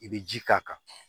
I bɛ ji k'a kan